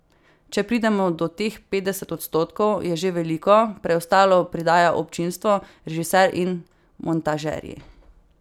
Če pridemo do teh petdeset odstotkov, je že veliko, preostalo pridajo občinstvo, režiser in montažerji.